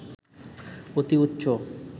অতি উচ্চ